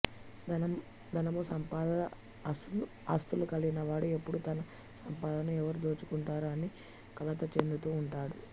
ధనము సంపద ఆస్తులు కలిగిన వాడు ఎప్పుడూ తనసంపదను ఎవరు దోచుకుంటారో అని కలతచెందుతూ ఉంటాడు